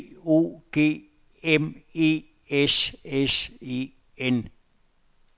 B O G M E S S E N